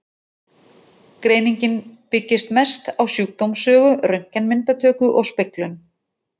Greiningin byggist mest á sjúkdómssögu, röntgenmyndatöku og speglun.